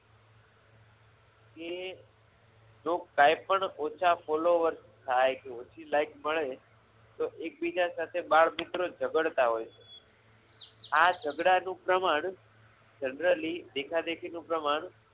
એ જો કાંઈ પણ ઓછા followers થાય ઓછી like મળે તો એકબીજા સાથે બાળમિત્રો ઝઘડતા હોય છે આ ઝઘડા નું પ્રમાણ generally દેખાદેખી નું પ્રમાણ